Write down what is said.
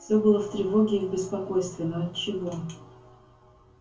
всё было в тревоге и в беспокойстве но отчего